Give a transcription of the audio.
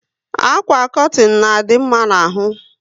Àkwà kọtin na adị mma n'ahu